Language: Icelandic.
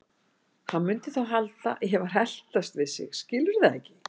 Hann mundi þá halda að ég væri að eltast við sig, skilurðu það ekki?